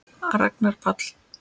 Ragnar Páll.